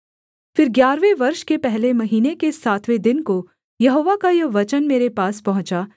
फिर ग्यारहवें वर्ष के पहले महीने के सातवें दिन को यहोवा का यह वचन मेरे पास पहुँचा